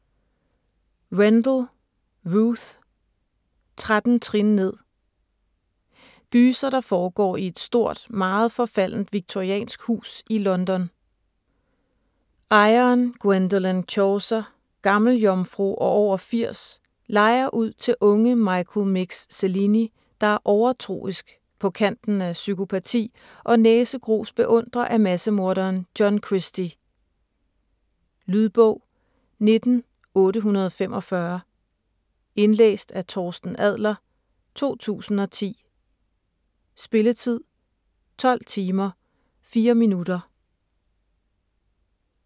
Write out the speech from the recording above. Rendell, Ruth: Tretten trin ned Gyser, der foregår i et stort meget forfaldent victoriansk hus i London. Ejeren, Gwendolen Chawcer, gammeljomfru og over 80 lejer ud til unge Michael 'Mix' Cellini, der er overtroisk, på kanten af psykopati og næsegrus beundrer af massemorderen John Christie. Lydbog 19845 Indlæst af Torsten Adler, 2010. Spilletid: 12 timer, 4 minutter.